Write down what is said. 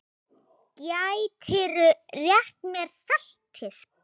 Gætirðu rétt mér saltið?